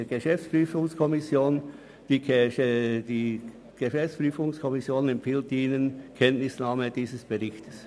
Die GPK empfiehlt Ihnen die Kenntnisnahme dieses Berichtes.